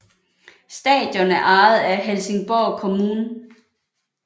Stadion er ejet af Helsingborg kommun